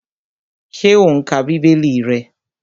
Ṣé o n ka bíbélì rẹ?